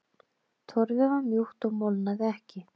Torfið var mjúkt og molnaði ekki.